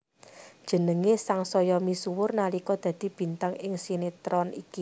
Jenengé sangsaya misuwur nalika dadi bintang ing sinetron iki